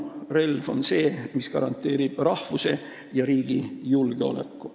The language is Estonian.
Relv on see, mis garanteerib rahvuse ja riigi julgeoleku.